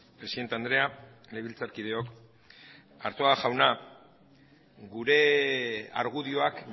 presidente andrea legebiltzarkideok arzuaga jauna gure argudioak